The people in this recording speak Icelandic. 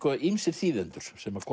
ýmsir þýðendur sem